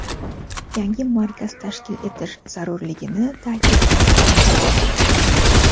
yangi markaz tashkil etish zarurligini taʼkidladi.